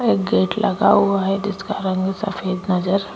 एक गेट लगा हुआ है जिसका रंग सफेद नजर --